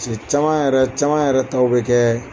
caman yɛrɛ caman yɛrɛ taw bɛ kɛ